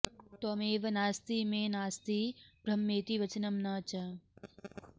त्वमेव नास्ति मे नास्ति ब्रह्मेति वचनं न च